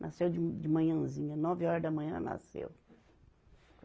Nasceu de, de manhãzinha, nove horas da manhã nasceu.